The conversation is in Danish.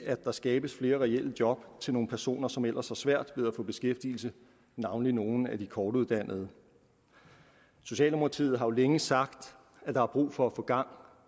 der skabes flere reelle job til nogle personer som ellers har svært ved at få beskæftigelse navnlig nogle af de kortuddannede socialdemokratiet har jo længe sagt at der er brug for at få gang